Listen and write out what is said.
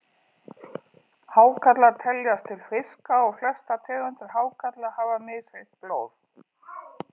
Hákarlar teljast til fiska og flestar tegundir hákarla hafa misheitt blóð.